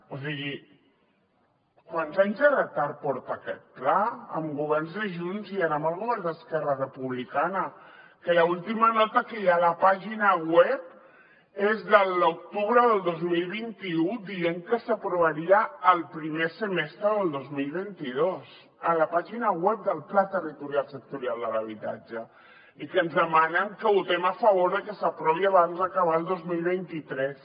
o sigui quants anys de retard porta aquest pla amb governs de junts i ara amb el govern d’esquerra republicana que l’última nota que hi ha a la pàgina web és de l’octubre del dos mil vint u dient que s’aprovaria el primer semestre del dos mil vint dos a la pàgina web del pla territorial sectorial de l’habitatge i que ens demanem que votem a favor de que s’aprovi abans d’acabar el dos mil vint tres